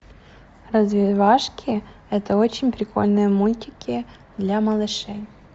развивашки это очень прикольные мультики для малышей